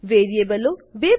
વેરીએબલો બે પ્રકારના હોય છે